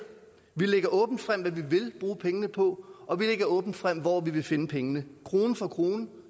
vi lægger åbent frem hvad vi vil bruge pengene på og vi lægger åbent frem hvor vi vil finde pengene krone for krone